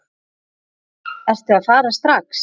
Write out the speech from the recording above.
Ertu að fara strax?